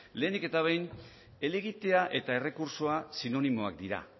lehenik eta behin helegitea eta errekurtsoa sinonimoak dira